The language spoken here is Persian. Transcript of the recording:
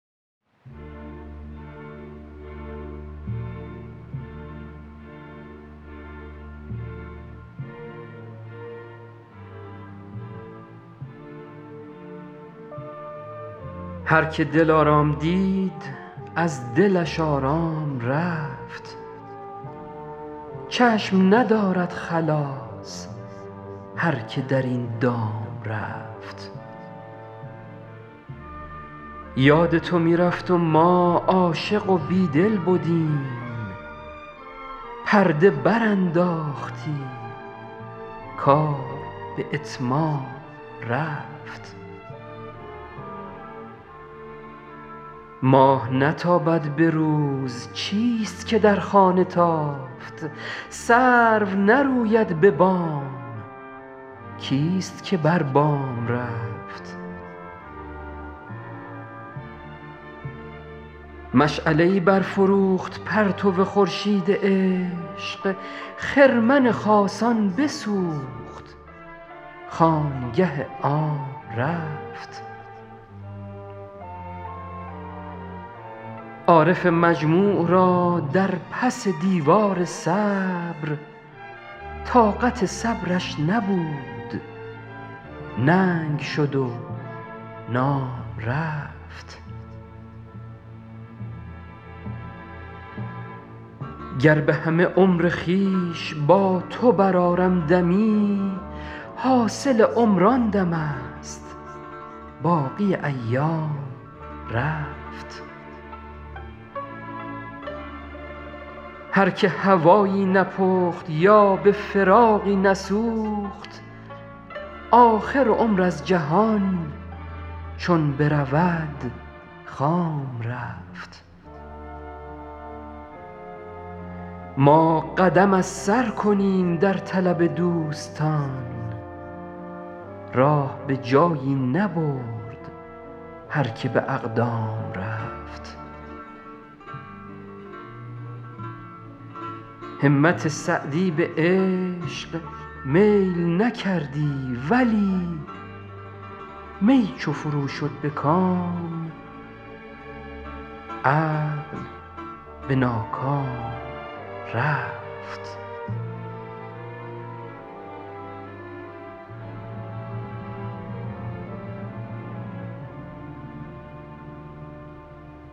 هر که دلارام دید از دلش آرام رفت چشم ندارد خلاص هر که در این دام رفت یاد تو می رفت و ما عاشق و بیدل بدیم پرده برانداختی کار به اتمام رفت ماه نتابد به روز چیست که در خانه تافت سرو نروید به بام کیست که بر بام رفت مشعله ای برفروخت پرتو خورشید عشق خرمن خاصان بسوخت خانگه عام رفت عارف مجموع را در پس دیوار صبر طاقت صبرش نبود ننگ شد و نام رفت گر به همه عمر خویش با تو برآرم دمی حاصل عمر آن دمست باقی ایام رفت هر که هوایی نپخت یا به فراقی نسوخت آخر عمر از جهان چون برود خام رفت ما قدم از سر کنیم در طلب دوستان راه به جایی نبرد هر که به اقدام رفت همت سعدی به عشق میل نکردی ولی می چو فرو شد به کام عقل به ناکام رفت